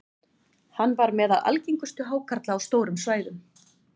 hann var meðal algengustu hákarla á stórum svæðum